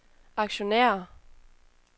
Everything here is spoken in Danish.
aktionærer